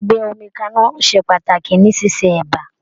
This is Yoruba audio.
Gbígbé omi kaná ṣe pàtàkì ní ṣíṣe ẹ̀bá.